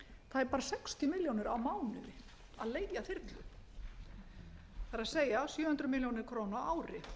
tæpar sextíu milljónir á mánuði að leigja þyrlu það er sjö hundruð milljóna króna á ári